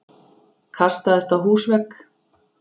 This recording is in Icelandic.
Kastaðist á húsvegg!